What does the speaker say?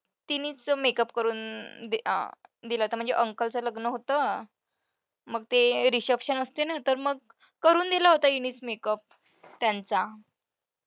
तिनेच तर makeup करून दिला होता म्हणजे uncle चं लग्न होतं. मग ते reception असते ना तर मग करून दिलं होतं हिनेच makeup त्यांचा.